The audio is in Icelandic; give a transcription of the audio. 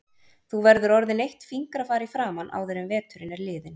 Þú verður orðin eitt fingrafar í framan áður en veturinn er liðinn